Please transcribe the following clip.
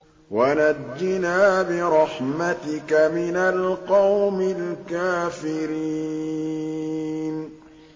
وَنَجِّنَا بِرَحْمَتِكَ مِنَ الْقَوْمِ الْكَافِرِينَ